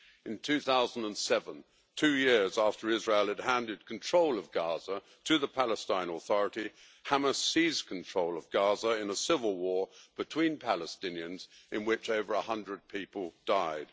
In 2007, two years after Israel had handed control of Gaza to the Palestine Authority, Hamas seized control of Gaza in a civil war between Palestinians in which over a hundred people died.